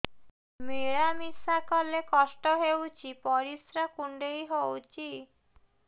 ମିଳା ମିଶା କଲେ କଷ୍ଟ ହେଉଚି ପରିସ୍ରା କୁଣ୍ଡେଇ ହଉଚି